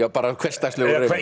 bara hversdagslegur reyfari